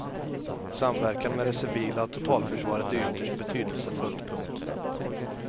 Samverkan med det civila totalförsvaret är ytterst betydelsefullt. punkt